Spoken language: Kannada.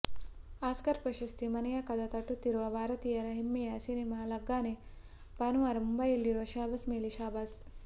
ಆಸ್ಕರ್ ಪ್ರಶಸ್ತಿ ಮನೆಯ ಕದ ತಟ್ಟುತ್ತಿರುವ ಭಾರತೀಯರ ಹೆಮ್ಮೆಯ ಸಿನಿಮಾ ಲಗಾನ್ಗೆ ಭಾನುವಾರ ಮುಂಬಯಿಯಲ್ಲಿ ಶಹಬ್ಭಾಸ್ ಮೇಲೆ ಶಹಬ್ಬಾಸ್